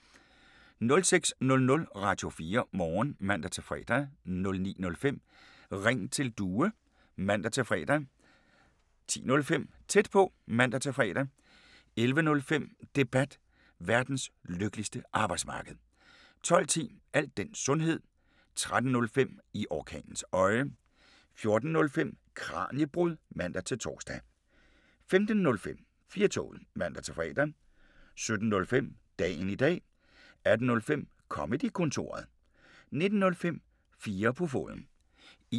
06:00: Radio4 Morgen (man-fre) 09:05: Ring til Due (man-fre) 10:05: Tæt på (man-fre) 11:05: Debat: Verdens lykkeligste arbejdsmarked 12:10: Al den sundhed 13:05: I orkanens øje 14:05: Kraniebrud (man-tor) 15:05: 4-toget (man-fre) 17:05: Dagen i dag 18:05: Comedy-kontoret